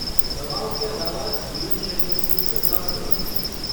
दवाओं के अलावा, जीवनशैली में कुछ बदलाव करने होंगे।